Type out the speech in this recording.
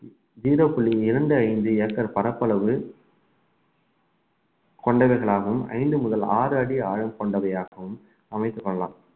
zero புள்ளி இரண்டு ஐந்து ஏக்கர் பரப்பளவு கொண்டவைகளாகவும் ஐந்து முதல் ஆறு அடி ஆழம் கொண்டவையாகவும் அமைத்துக் கொள்ளலாம்